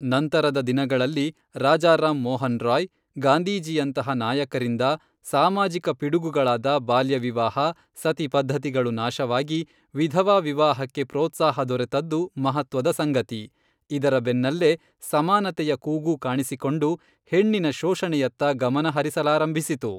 ನಂತರದ ದಿನಗಳಲ್ಲಿ ರಾಜಾರಾಂ ಮೋಹನ್ ರಾಯ್ ಗಾಂಧೀಜಿಯಂತಹ ನಾಯಕರಿಂದ ಸಾಮಾಜಿಕ ಪಿಡುಗುಗಳಾದ ಬಾಲ್ಯ ವಿವಾಹ ಸತಿಪದ್ಧತಿಗಳು ನಾಶವಾಗಿ ವಿಧವಾ ವಿವಾಹಕ್ಕೆ ಪ್ರೋತ್ಸಾಹ ದೊರೆತದ್ದು ಮಹತ್ವದ ಸಂಗತಿ ಇದರ ಬೆನ್ನಲ್ಲೆ ಸಮಾನತೆಯ ಕೂಗೂ ಕಾಣಿಸಿಕೊಂಡು ಹೆಣ್ಣಿನ ಶೋಷಣೆಯತ್ತ ಗಮನ ಹರಿಸಲಾರಂಭಿಸಿತು.